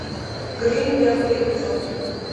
гримм первый эпизод